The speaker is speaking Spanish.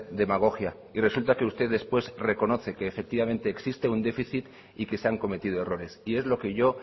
demagogia y resulta que usted después reconoce que efectivamente existe un déficit y que se han cometido errores y es lo que yo